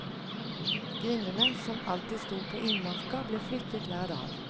Grindene, som alltid stod på innmarka, ble flyttet hver dag.